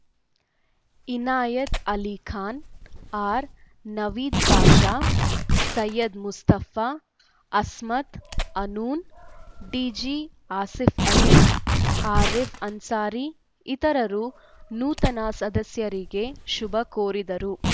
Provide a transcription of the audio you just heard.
ಇನಾಯತ್‌ ಅಲಿಖಾನ್‌ ಆರ್‌ನವೀದ್‌ ಬಾಷಾ ಸೈಯದ್‌ ಮುಸ್ತಾಫ್‌ ಅಸ್ಮತ್‌ಅನೂನ್‌ ಡಿಜಿಆಸೀಫ್‌ ಅಲಿ ಆರೀಫ್‌ ಅನ್ಸಾರಿ ಇತರರು ನೂತನ ಸದಸ್ಯರಿಗೆ ಶುಭಾ ಕೋರಿದರು